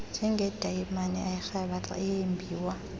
njengedayimani erhabaxa eyembiwa